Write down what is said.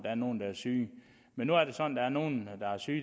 er nogen der er syge men nu er det sådan er nogle der er syge